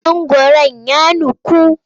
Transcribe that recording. Mangwaron ya nuku.